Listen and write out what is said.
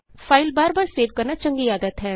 file ਬਾਰ ਬਾਰ save ਕਰਨਾ ਚੰਗੀ ਆਦਤ ਹੈ